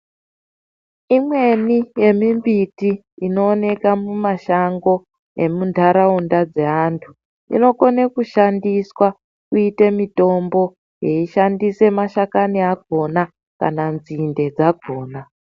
Imweni yemimbiti inooneka mumashango emuntaraunda dzeanthu inokone kushandiswa kuite mitombo yeishandise mashakani akhona kana nzinde dzakhona.